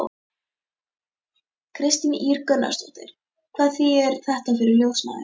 Kristín Ýr Gunnarsdóttir: Hvað þýðir þetta fyrir ljósmæður?